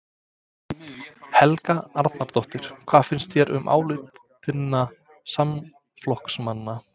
Helga Arnardóttir: Hvað finnst þér um álit þinna samflokksmanna?